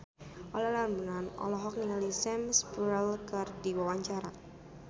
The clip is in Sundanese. Olla Ramlan olohok ningali Sam Spruell keur diwawancara